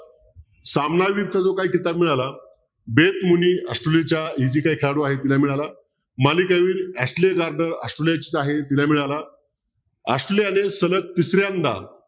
सामना काही झाला ऑस्ट्रेलियाची ही जी खेळाडू आहे तिला मिळाला ऑस्ट्रेलियाचीच आहे तिला मिळाला ऑस्ट्रेलियाने सलग तिसऱ्यांदा